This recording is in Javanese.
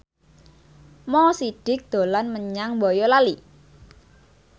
Mo Sidik dolan menyang Boyolali